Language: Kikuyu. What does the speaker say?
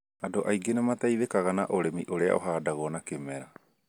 Andũ aingĩ nĩ mateithĩkaga na ũrĩmi ũrĩa uhandagwo na kĩmera